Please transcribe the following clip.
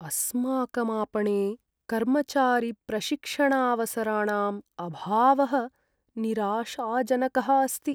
अस्माकं आपणे कर्मचारिप्रशिक्षणावसराणाम् अभावः निराशाजनकः अस्ति।